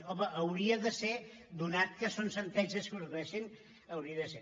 home hauria de ser ja que són sentències que es produeixen hauria de ser